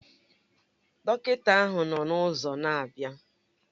Dọkịta ahụ nọ n'ụzọ na-abịa